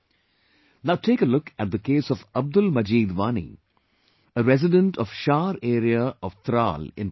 Now take a look at the case of Abdul MajeedWani, a resident of Shar area of Tral in Pulwama